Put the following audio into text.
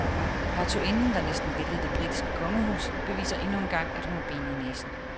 Hertuginden, der næsten væltede det britiske kongehus, beviser endnu en gang, at hun har ben i næsen.